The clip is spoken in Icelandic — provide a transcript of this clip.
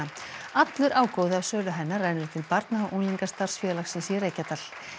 allur ágóði af sölu hennar rennur til barna og unglingastarfs félagsins í Reykjadal